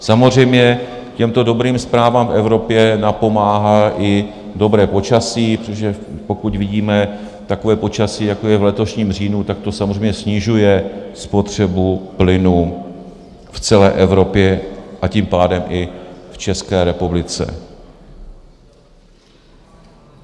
Samozřejmě těmto dobrým zprávám v Evropě napomáhá i dobré počasí, protože pokud vidíme takové počasí, jako je v letošním říjnu, tak to samozřejmě snižuje spotřebu plynu v celé Evropě, a tím pádem i v České republice.